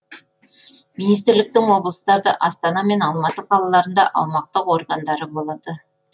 министрліктің облыстарда астана мен алматы қалаларында аумақтық органдары болады